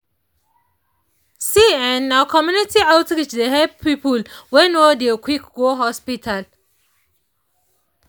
see[um]na community outreach dey help people wey no dey quick go hospital.